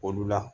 Olu la